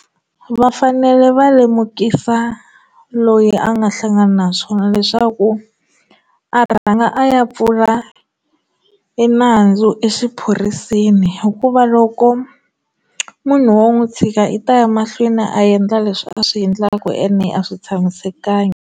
Vafanele va lemukisa loyi a nga hlangana na swona leswaku a rhanga a ya pfula enandzu exiphoriseni hikuva loko munhu wo n'wi tshika i ta ya mahlweni a endla leswi a swi endlaku ene a swi tshamisekanga.